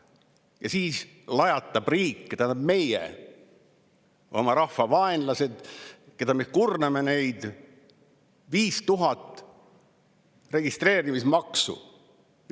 Ja siis lajatab riik – tähendab, lajatame meie, oma rahva vaenlased, oma rahva kurnajad – 5000 registreerimismaksu.